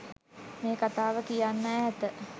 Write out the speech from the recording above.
මේ කතාව කියන්න ඈත